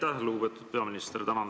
Aitäh, lugupeetud peaminister!